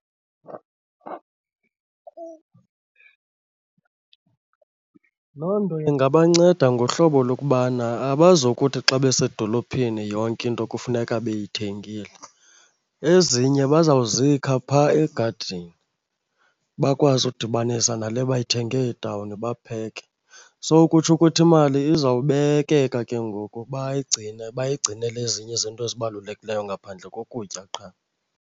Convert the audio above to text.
Loo nto ingabanceda ngohlobo lokubana abazokuthi xa besedolophini yonke into kufuneka beyithengile, ezinye bazawuzikha phaa egadini bakwazi udibanisa nale bayithenge etawuni bapheke. So kutsho ukuthi imali izawubekeka ke ngoku bayigcine bayigcinele ezinye izinto ezibalulekileyo ngaphandle kokutya qha.